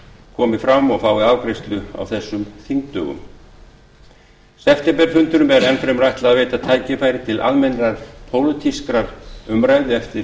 komi fram og fái afgreiðslu á þessum þingdögum septemberfundunum er enn fremur ætlað að veita tækifæri til almennrar pólitískrar umræðu eftir